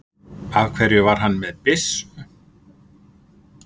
Af hverju var hann með byssu?